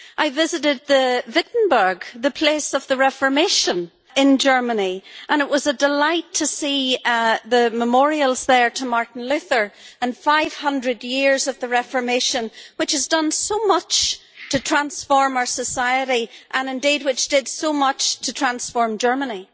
I visited Wittenberg, the place of the Reformation in Germany, and it was a delight to see the memorials there to Martin Luther and 500 years of the Reformation, which has done so much to transform our society and which did so much to transform Germany.